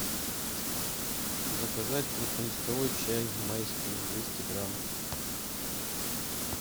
заказать крупнолистовой чай майский двести грамм